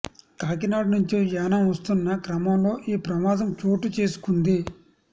కాకినాడ నుంచి యానాం వస్తున్న క్రమంలో ఈ ప్రమాదం చోటు చేసుకుంది